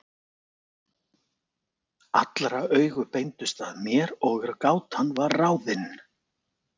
Allra augu beindust að mér og gátan var ráðin.